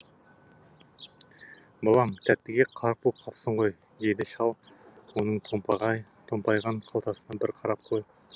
балам тәттіге қарқ боп қапсың ғой деді шал оның томпайған қалтасына бір қарап қойып